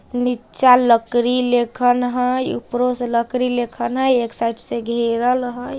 नीचा लकड़ी लेखन हेय ऊपरो से लकड़ी लेखन हेय एक साइड से घेरल हेय।